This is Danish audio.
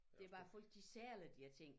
Det er bare folk de sælger de her ting